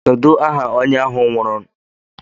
Kedu aha onye ahụ nwụrụ?